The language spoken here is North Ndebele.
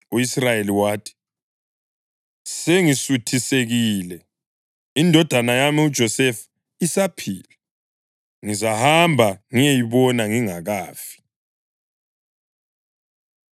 U-Israyeli wathi, “Sengisuthisekile! Indodana yami uJosefa isaphila. Ngizahamba ngiyeyibona ngingakafi.”